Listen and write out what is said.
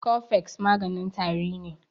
Cofex maganin tari ne